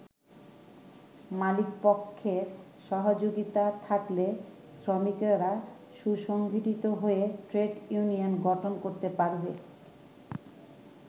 মালিকপক্ষের সহযোগিতা থাকলে শ্রমিকেরা সুসংগঠিত হয়ে ট্রেড ইউনিয়ন গঠন করতে পারবে।